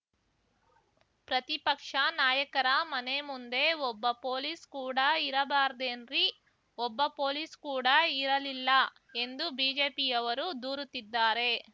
ಪ್ರತಿಪಕ್ಷ ನಾಯಕರ ಮನೆ ಮುಂದೆ ಒಬ್ಬ ಪೊಲೀಸ್‌ ಕೂಡ ಇರಬಾರ್ದೇನ್ರಿ ಒಬ್ಬ ಪೊಲೀಸ್‌ ಕೂಡ ಇರಲಿಲ್ಲ ಎಂದು ಬಿಜೆಪಿಯವರು ದೂರುತ್ತಿದ್ದಾರೆ